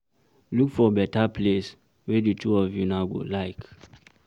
Look for better place wey di two of una go like